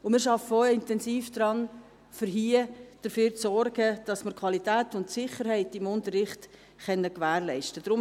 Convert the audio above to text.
Wir arbeiten auch intensiv daran, dafür zu sorgen, dass wir die Qualität und Sicherheit im Unterricht gewährleisten können.